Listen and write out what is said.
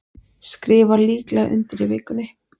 Skrifa líklega undir í vikunni